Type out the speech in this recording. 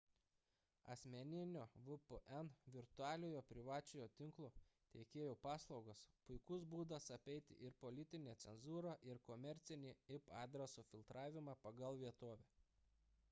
asmeninio vpn virtualiojo privačiojo tinklo teikėjų paslaugos – puikus būdas apeiti ir politinę cenzūrą ir komercinį ip adreso filtravimą pagal vietovę